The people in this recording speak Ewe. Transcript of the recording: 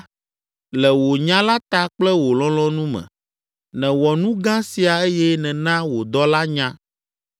Le wò nya la ta kple wò lɔlɔ̃nu me, nèwɔ nu gã sia eye nèna wò dɔla nya.